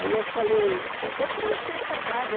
Aí eu falei, eu vou preencher essa vaga aí.